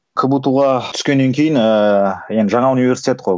кбту ға түскеннен кейін ыыы енді жаңа университет қой